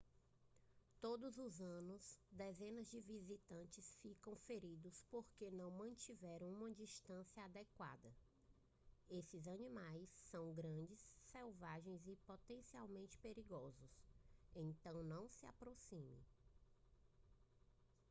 todos os anos dezenas de visitantes ficam feridos porque não mantiveram uma distância adequada esses animais são grandes selvagens e potencialmente perigosos então não se aproxime